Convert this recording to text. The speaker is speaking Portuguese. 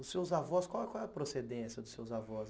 Os seus avós, qual qual é a procedência dos seus avós?